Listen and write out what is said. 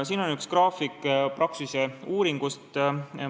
Siin on üks graafik Praxise uuringust.